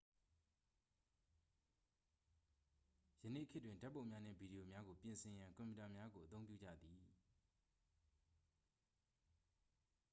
ယနေ့ခေတ်တွင် ဓာတ်ပုံများနှင့် ဗီဒီယိုများကို ပြင်ဆင်ရန် ကွန်ပျူတာများကို အသုံးပြုကြသည်